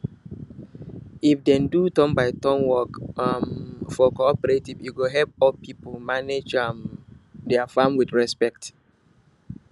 if dem do turn by turn work um for cooperative e go help old people manage um dia farm with respect